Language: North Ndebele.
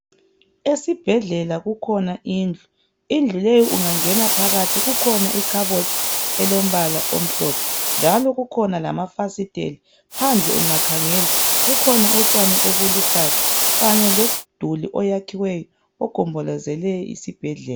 Esibhedlela kukhona indlu indlu leyo ungangena phakathi kukhona ikhabothi elombala omhlophe njalo kukhona lamafasiteli phandle ungakhangela kukhona utshani obuluhlaza kanye lomduli oyakhiweyo ogombolozele isibhedlela